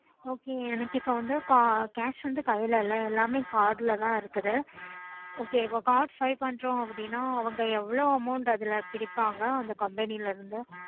எனக்கு இப்போ வந்து cash எதுமே கைல இல்ல எல்லாமே card ல தான் இருக்குது